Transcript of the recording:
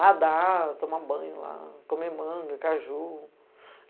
Nadar, tomar banho lá, comer manga, caju.